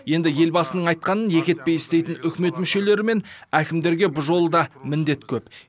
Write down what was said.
енді елбасының айтқанын екі етпей істейтін үкімет мүшелері мен әкімдерге бұл жолы да міндет көп